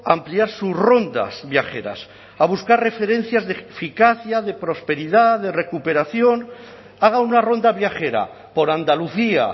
a ampliar sus rondas viajeras a buscar referencias de eficacia de prosperidad de recuperación haga una ronda viajera por andalucía